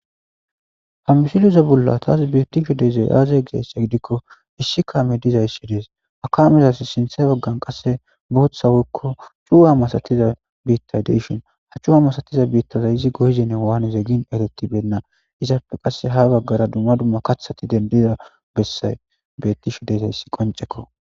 Ha missileza bolla tas betishe dizay aze gizayissa gidikko Issi kaammey dizayissi des ha kamezas sinththe bagan qase boththa woyikko cuwa bittay de'ishin ha cuwa masatiza bitta izi goyizenne wanizenne eretibena izape ha qase bagara dumma dumma kaththati dendida besay de'izayis qoncekko